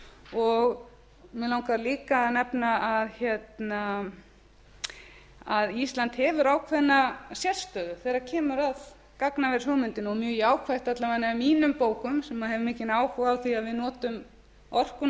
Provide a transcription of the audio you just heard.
og mig langar líka að nefna að ísland hefur ákveðna sérstöðu þegar kemur að gagnavershugmyndinni og er mjög jákvætt alla vega í mínum bókum sem hef mikinn áhuga á því að við notum orkuna